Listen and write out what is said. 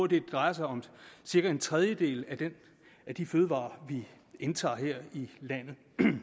det drejer sig om cirka en tredjedel af de fødevarer vi indtager her i landet